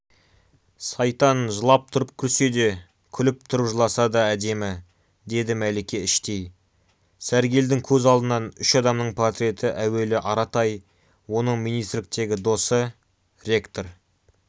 сайтан жылап тұрып күлсе де күліп тұрып жыласа да әдемі деді мәлике іштей сәргелдің көз алдынан үш адамның портреті әуелі аратай оның министрліктегі досы ректор